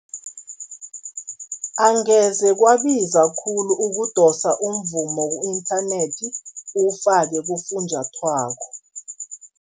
Angeze kwabiza khulu ukudosa umvumo ku-inthanethi, uwufake kufunjathwako.